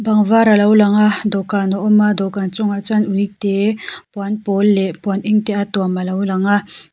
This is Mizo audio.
bang var a lo lang a dawhkan a awm a dawhkan chungah chuan uite puan pawl leh puan eng te a tuam a lo lang a.